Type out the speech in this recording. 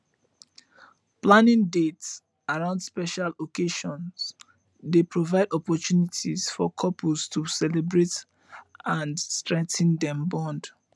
planning dates around special occasions dey provide opportunities for couples to celebrate and strengthen dem bond